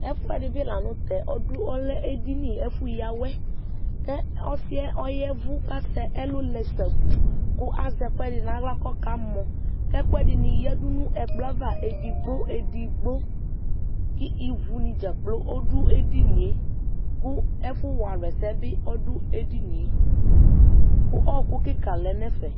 Ɛfʋɛdɩ bɩ la nʋ tɛ ọdʋ ,ɔlɛ edini ɛfʋ yǝ aWɛ Ọsɩɛ ya ɛvʋ K'asɛ ɛlʋ lɛ sabuu ,Kʋ azɛ ɛkʋɛdɩ n'aɣla kɔka mɔ Ɛkʋɛdɩnɩ yǝdu n'ɛkplɔɛava edigbo edigbo kʋ ,ivunɩ dzakplo ɔdʋ edinie Ɛfʋ wa alʋ ɛsɛ bɩ dʋ edinie ,kʋ ɔɔkʋ kika lɛ n'ɛfɛ